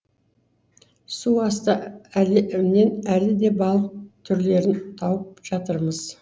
су асты әлемінен әлі де балық түрлерін тауып жатырмыз